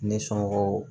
Ne somɔgɔw